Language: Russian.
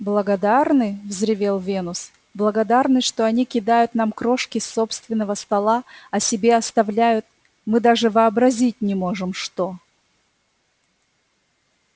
благодарны взревел венус благодарны что они кидают нам крошки с собственного стола а себе оставляют мы даже вообразить не можем что